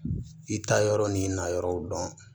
I ta yɔrɔ ni na yɔrɔw dɔn